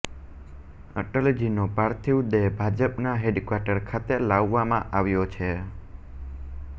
અટલજીનો પાર્થિવ દેહ ભાજપના હેડક્વાર્ટર ખાતે લાવવામાં આવ્યો છે